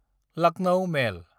Lucknow मेल